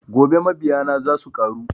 Gobe mabiya na za suƙaru